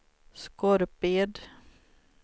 Skorped